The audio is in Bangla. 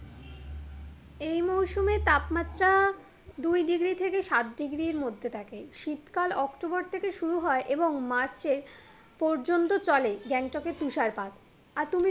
এই মুরসুমে তাপমাত্রা দুই ডিগ্রির থেকে সাত ডিগ্রির মধ্যে থাকে শীতকাল অক্টোবর থেকে শুরু হয় এবং মার্চের পর্যন্ত চলে গ্যাংটকের তুষারপাত, আর তুমি